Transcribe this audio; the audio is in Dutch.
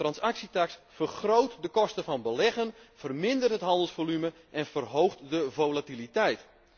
Een transactietaks vergroot de kosten van beleggen, vermindert het handelsvolume en verhoogt de volatiliteit.